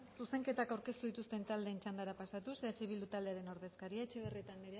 zuzenketak aurkeztu dituzten taldeen txandara pasatuz eh bildu taldearen ordezkaria etxebarrieta andrea